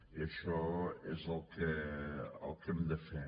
i això és el que hem de fer